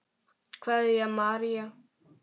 Kveðja, María.